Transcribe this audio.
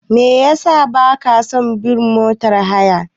Me yasa ba ka son bin motar haya?